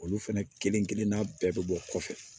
Olu fɛnɛ kelenkelenna bɛɛ bɛ bɔ kɔfɛ